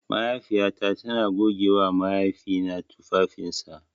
Mahaifiyata tana gogewa mahaifina tufafinsa.